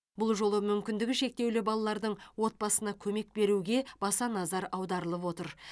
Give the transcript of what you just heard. бұл жолы мүмкіндігі шектеулі балалардың отбасына көмек беруге баса назар аударылып отыр